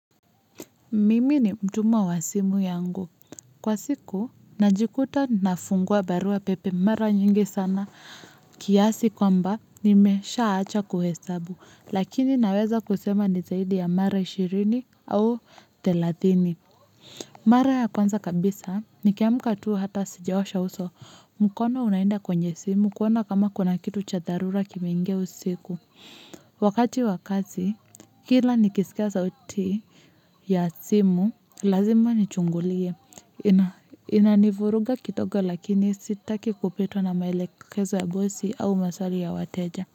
Mimi ni mtumwa wa simu yangu, kwa siku najikuta ninafungua barua pepe mara nyingi sana kiasi kwamba nimeshaacha kuhesabu, lakini naweza kusema ni zaidi ya mara shirini au thelathini mara ya kwanza kabisa, nikiamka tu hata sijaosha uso mkono unaenda kwenye simu kuona kama kuna kitu cha dharura kimeingia usiku wakati wa kazi kila nikisikia sauti ya simu, lazima nichungulie inanivuruga kidogo lakini sitaki kupitwa na maelekezo ya bosi au maswali ya wateja.